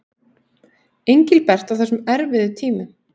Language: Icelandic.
Engilbert á þessum erfiðu tímum.